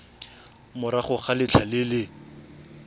morago ga letlha le le